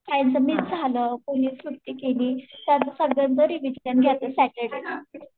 miss झालं कोणी सुट्टी केली तर सॅटर्डे